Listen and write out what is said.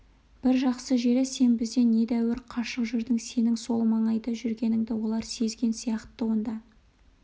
бір жақсы жері сен бізден недәуір қашық жүрдің сенің сол маңайда жүргеніңді олар сезген сияқты онда